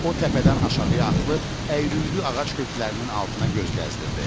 O təpədən aşağıya atılıb əyri-üyrü ağac köklərinin altına göz gəzdirdi.